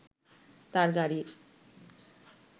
তার গাড়ির